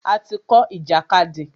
A ti kọ́ ìjàkadì.